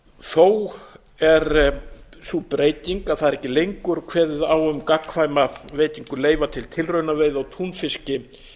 þó er sú breyting að það er ekki lengur kveðið á um gagnkvæma veitingu leyfa til tilraunaveiða á túnfiski